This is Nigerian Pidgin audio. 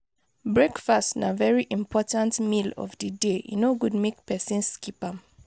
breakfast na very important meal of di day e no good make persin skip am